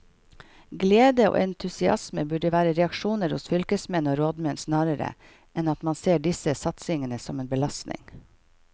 Glede og entusiasme burde være reaksjoner hos fylkesmenn og rådmenn snarere enn at man ser disse satsingene som en belastning.